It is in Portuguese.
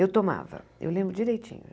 Eu tomava, eu lembro direitinho.